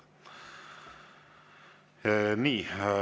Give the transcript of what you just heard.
Nii.